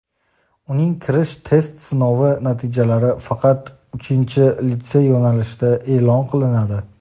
uning kirish test sinovi natijalari faqat uchinchi litsey yo‘nalishida e’lon qilinadi;.